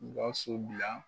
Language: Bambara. Gawusu bila